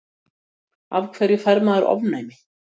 Af hverju fær maður ofnæmi?